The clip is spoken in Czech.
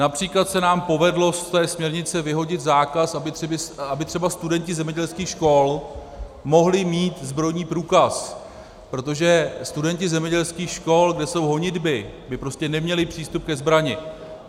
Například se nám povedlo z té směrnice vyhodit zákaz, aby třeba studenti zemědělských škol mohli mít zbrojní průkaz, protože studenti zemědělských škol, kde jsou honitby, by prostě neměli přístup ke zbrani.